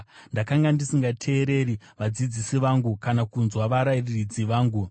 Ndakanga ndisingateereri vadzidzisi vangu, kana kunzwa varairidzi vangu.